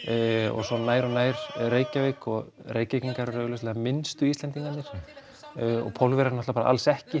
og svo nær og nær Reykjavík og Reykvíkingar eru augljóslega minnstu Íslendingarnir og Pólverjar bara alls ekki